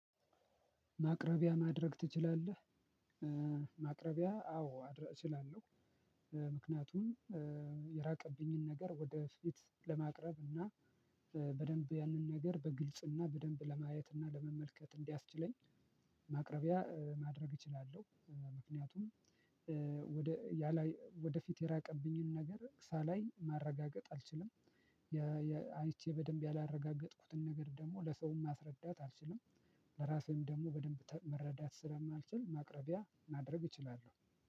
ማቅረቢያ ማድረግ ትችላለህ? ማቅረቢያ አዎ እችላለሁ ምክንያቱም የራቀብኝን ነገር ወደፊት ለማቅረብ እና በደንብ ያንን ነገር በግልጽና በደንብ ለማየትና ለመመልከት እንዲያስችለኝ ማቅረቢያ ማድረግ እችላለሁ ምክንያቱም ወደ ያ ላይ ወደፊት የራቀብኝን ነገር ሳላይ ማረጋገጥ አልችልም። አይቼ በደንብ ያላረጋገጥኩትን ነገር ደግሞ ለሰውም ማስረዳት አልችልም። ለራሴም ደግሞ በደንብ መረዳት ስለማልችል ማቅረቢያ ማድረግ እችላለሁ።